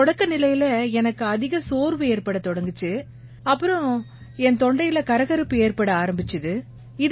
தொடக்க நிலையில எனக்கு அதிக சோர்வு ஏற்படத் தொடங்கிச்சு பிறகு என் தொண்டையில கரகரப்பு ஏற்பட ஆரம்பிச்சுது